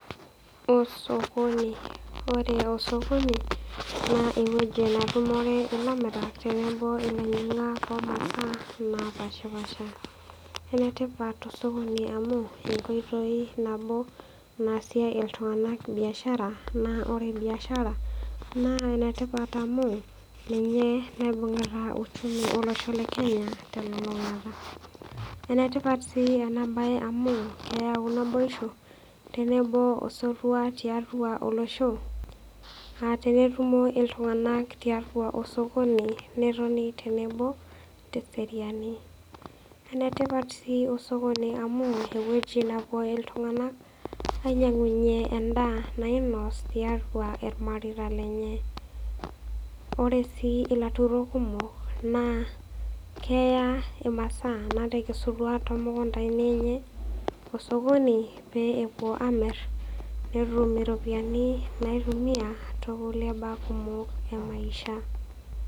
Osokoni. Ore osokoni naa ewueji netumore ilamirak tenebo olainyiak oh omasaa napashipasha. Enetipat osokoni amu, enkoitoi nabo naasie iltunganak biashara naa ore biashara naa enetipat amu, ninye naibungita uchumi olosho le Kenya telulungata. Enetipat si ena bae amu, keeyau naboisho tenebo osotua tiatua olosho. Ah tenetumo iltunganak tiatua osokoni netoni tenebo teseriani. Enetipat si osokoni amu, ewueji napuo iltunganak ainyiangunye endaa nainos tiatua irmareita lenye. Ore si ilaturok kumok naa keeya imasaa natekesutua tiatua imukuntani enye osokoni paa epuo amir netum iropiyani naitumia too kulie baa kumok e maisha.